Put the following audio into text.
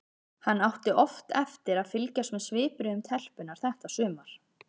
Hann átti oft eftir að fylgjast með svipbrigðum telpunnar þetta sumar.